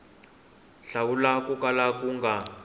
hlawula ko kala ku nga